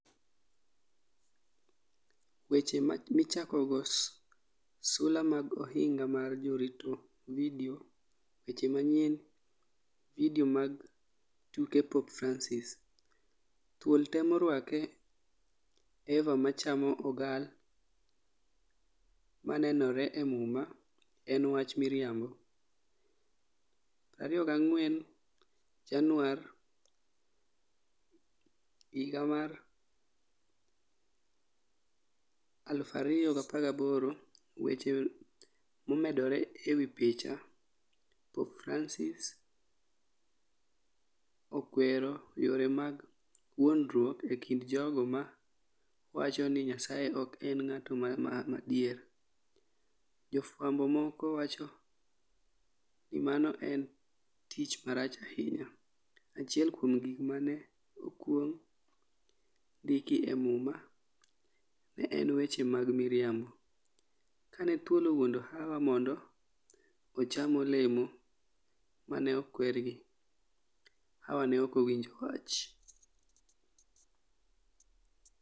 Weche Michakogo Sula mag Ohinga mar Jarito Vidio Weche Manyien Vidio mag Tuke Pope Francis: Thuol Temo Rwake EVA MA CHAMO OGAL MA NENORE E MUMA en 'wach miriambo' 24 Januar, 2018 weche momedore e wi picha, Pope Francis Pope Francis okwero yore mag wuondruok e kind jogo ma wacho ni Nyasaye ok en ng'ato madier. Jofwambo moko wacho ni mano en tim marach ahinya. Achiel kuom gik ma ne okwong ndiki e Muma ne en weche mag miriambo. Kane thuol owuondo Hawa mondo ocham olemo ma ne okwergi, Hawa ne ok owinjo wach.